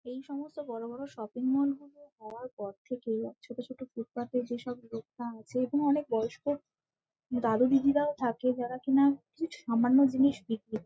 এই সমস্ত বড় বড় শপিং মল গুলো হওয়ার পর থেকে ছোট ছোট ফুটপাথ এর যেসব দোকান আছে এবং অনেক বয়স্ক দাদু দিদিরাও থাকে যারা কিনা কিছু সামান্য জিনিস বিক্রি ক--